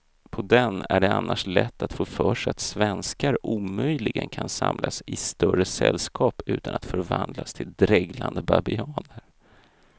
På den är det annars lätt att få för sig att svenskar omöjligen kan samlas i större sällskap utan att förvandlas till dreglande babianer.